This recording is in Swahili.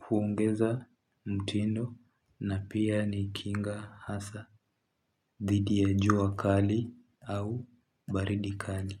huongeza mtindo na pia ni kinga hasa dhidi ya jua kali au baridi kali.